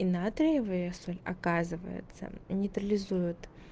и натриевая соль оказывается нейтрализует